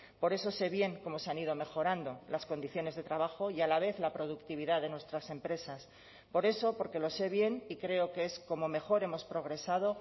por eso sé bien cómo se han ido mejorando las condiciones de trabajo y a la vez la productividad de nuestras empresas por eso porque lo sé bien y creo que es como mejor hemos progresado